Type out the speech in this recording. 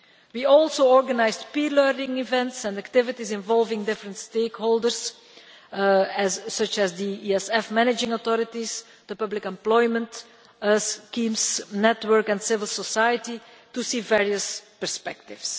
We also organised peer learning events and activities involving different stakeholders such as the ESF managing authorities, the public employment schemes, network and civil society, to see various perspectives.